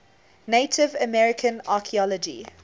native american archeology